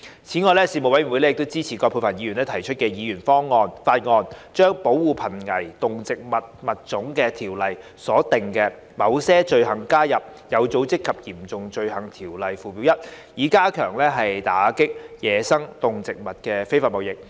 此外，事務委員會支持葛珮帆議員提出的議員法案，將《保護瀕危動植物物種條例》所訂的某些罪行加入《有組織及嚴重罪行條例》附表 1， 以加強打擊野生動植物非法貿易。